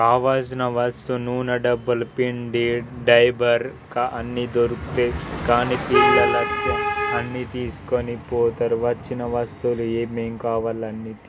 కావలసిన వస్తువు నూనే డబ్బాలు పిండి డైపర్ కా అన్నీ దొరుకుతాయ్ కానీ పిల్లలా అన్నీ తిసుకుపోతారు వచ్చిన వస్తువులు ఏమే మేం కావాలి అన్నీ.